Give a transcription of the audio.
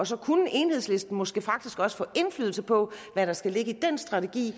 så kunne enhedslisten måske faktisk også få indflydelse på hvad der skal ligge i den strategi